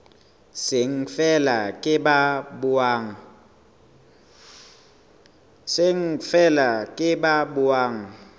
seng feela ke ba buang